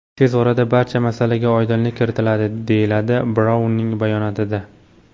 Tez orada barcha masalaga oydinlik kiritiladi”, deyiladi Braunning bayonotida.